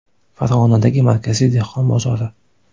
Farg‘onadagi Markaziy dehqon bozori.